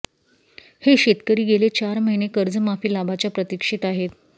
हे शेतकरी गेले चार महिने कर्जमाफी लाभाच्या प्रतिक्षेत आहेत